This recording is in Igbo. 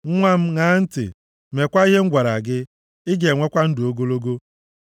Nwa m, ṅaa m ntị, meekwa ihe m gwara gị; ị ga-enwekwa ndụ ogologo.